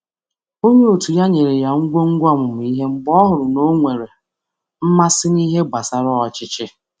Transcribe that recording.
Onye ọrụ ibe ya kesara ya ihe mmụta mgbe ọ hụrụ na o nwere mmasị n’ịmụba ikike ndú.